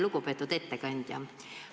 Lugupeetud ettekandja!